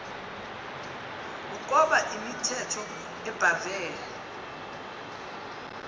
ukoba imithetho ebhahve